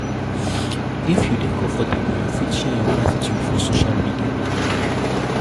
if you dey comfortable you fit share your gratitude for social media